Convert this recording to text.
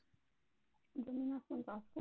जमीन आसमान असतो?